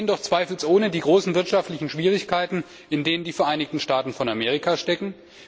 Wir sehen doch zweifelsohne die großen wirtschaftlichen Schwierigkeiten, in denen die Vereinigten Staaten von Amerika stecken.